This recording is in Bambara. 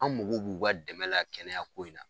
An mago b'u ka dɛmɛla kɛnɛya ko in na.